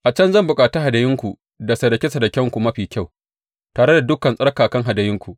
A can zan bukaci hadayunku da sadake sadakenku mafi kyau, tare da dukan tsarkakan hadayunku.